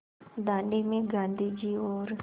दाँडी में गाँधी जी और